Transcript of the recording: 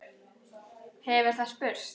hefur það spurt.